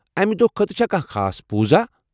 امہِ دۄہ خٲطرٕ چھا کانٛہہ خاص پوُزا؟